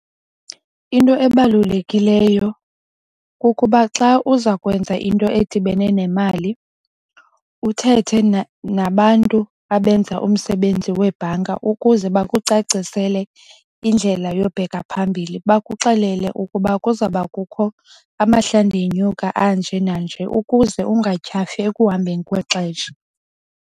Into ebalulekileyo kukuba xa uza kwenza into edibene nemali uthethe nabantu abenza umsebenzi webhanki ukuze bakucacisele indlela yobheka phambili. Bakuxelele ukuba kuzawuba kukho amahla ndinyuka anje nanje ukuze ungatyhafi ekuhambeni kwexesha.